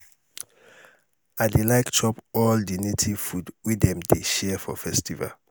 i dey like chop all um di native food wey dem dey share for festival. um